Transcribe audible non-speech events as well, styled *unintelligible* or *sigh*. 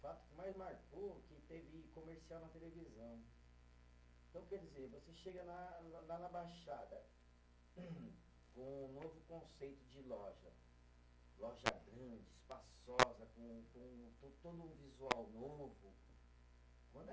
O fato que mais marcou é que teve comercial na televisão. Então quer dizer você chega na, lá na baixada, *coughs* com um novo conceito de loja, loja grande, espaçosa, com com to todo o visual novo *unintelligible*